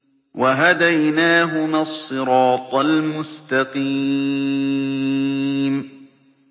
وَهَدَيْنَاهُمَا الصِّرَاطَ الْمُسْتَقِيمَ